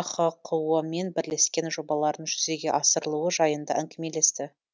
ахқо мен бірлескен жобаларының жүзеге асырылуы жайында әңгімелесті